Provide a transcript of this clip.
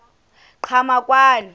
qhamakwane